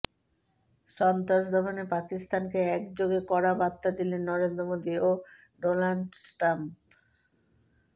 সন্ত্রাস দমনে পাকিস্তানকে একযোগে কড়া বার্তা দিলেন নরেন্দ্র মোদী ও ডোনাল্ড ট্রাম্প